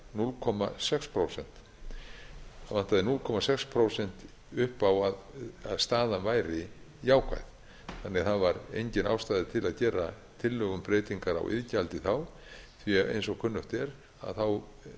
núll komma sex prósent það vantaði núll komma sex prósent upp á að staðan væri jákvæð það var því engin ástæða til að gera tillögu um breytingar iðgjaldi þá því að eins og kunnugt er er